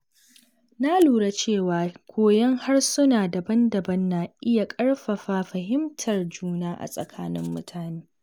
Na lura cewa koyon harsuna daban-daban na iya ƙarfafa fahimtar juna a tsakanin mutane.